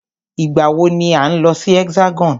Ìgbà wọ ni à ń lọ sí Hexagon?